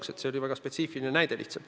See oli lihtsalt väga spetsiifiline näide.